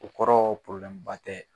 O kɔrɔ tɛ